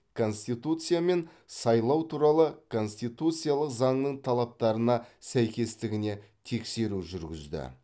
конституция мен сайлау туралы конституциялық заңның талаптарына сәйкестігіне тексеру жүргізді